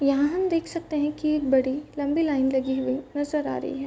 यहाँ हम देख सकते हैं कि एक बड़ी लम्बी लाइन लगी हुई हैं। नज़र आ रही है।